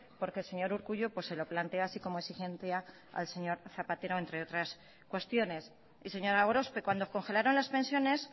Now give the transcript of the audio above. porque el señor urkullu se lo plantea así como exigencia al señor zapatero entre otras cuestiones señora gorospe cuando congelaron las pensiones